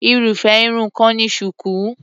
Irúfé Irun kan ni shuku.